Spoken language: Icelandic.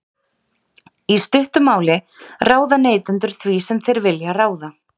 Í stuttu máli ráða neytendur því sem þeir vilja ráða.